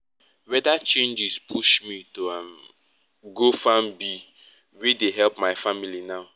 weather changes push me to um go farm bee wey dey help my family now